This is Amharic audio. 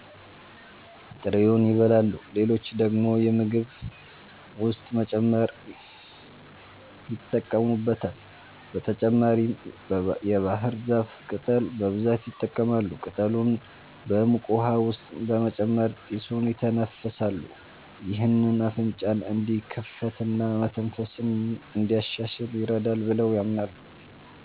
ጥሬውን ይበላሉ፣ ሌሎች ደግሞ በምግብ ውስጥ በመጨመር ይጠቀሙበታል። በተጨማሪም የባህር ዛፍ ቅጠል በብዛት ይጠቀማሉ። ቅጠሉን በሙቅ ውሃ ውስጥ በመጨመር ጢሱን ይተነፍሳሉ። ይህ አፍንጫን እንዲከፍትና መተንፈስን እንዲያሻሽል ይረዳል ብለው ያምናሉ።